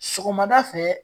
Sɔgɔmada fɛ